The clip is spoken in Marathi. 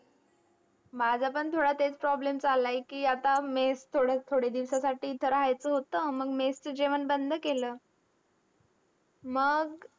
माझं पण थोडा तेच problem चाललाय की, आता mess थोडं थोडे दिवसासाठी इथं राहायचं होतं. मग mess चं जेवण बंद केलं. मग